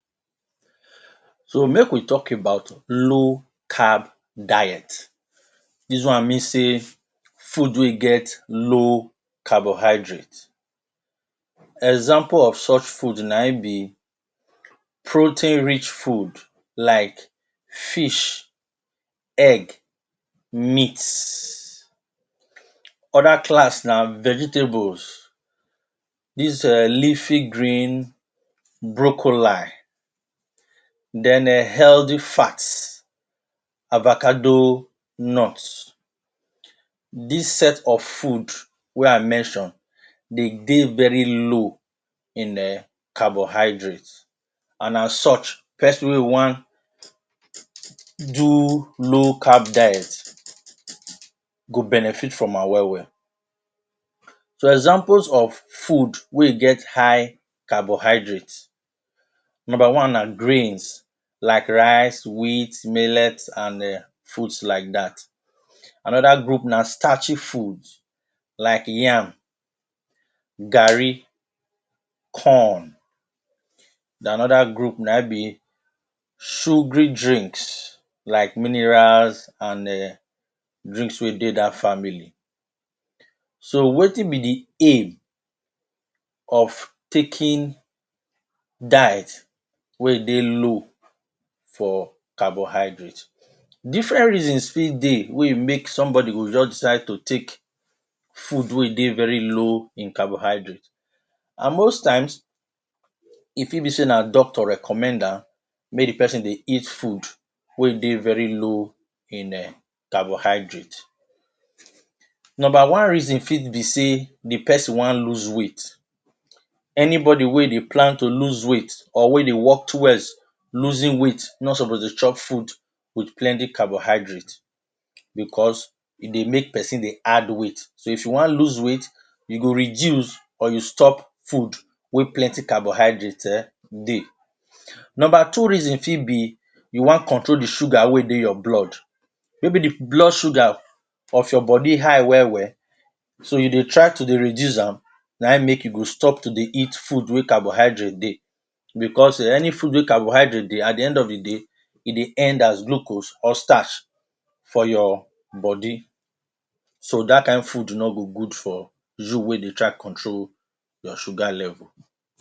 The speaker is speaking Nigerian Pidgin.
So make we tok about low Carb diet dis one mean say food wey get low carbohydrates examples of such foods na in be protein-rich food like fish, egg, meat. Oda class na vegetables dis leafy greens, broccoli, then healthy fat, avocado nuts. Dis sets of foods dem dey very low in carbohydrates and as such pesin wey wan do low carb diet go benefit from am well well. Some examples of foods wey get high carbohydates grains like rice, heat, millet and foods like that. Anther group na starchy foods like yam, garri, corn. Another group na sugary drinks like minerals and drinks wey dey dat family. So wetin be di aim of takiing diet wey dey low for carbohydrates. Different reasons fit dey wey make someone go just decide to take food wey dey veri low for carbohydrates and most times e fit be di say na Doctor recommend am. Nomba one reason fit be say di pesin wan lose weight anybody wey wan lose weight anybody wey dey plan to lose weight or dey work rowards losing weight no suppose take food wit plenty carbohydrates becos e dey make di pesin wan add weight. Nomba 2 reason be to control blood sugar becos any food wey carbohydratesdey de at the end of the day go end up as glucose and dat no go good for you wey wan control your sugar level.